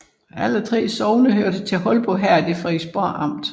Alle 3 sogne hørte til Holbo Herred i Frederiksborg Amt